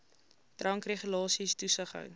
drankregulasies toesig hou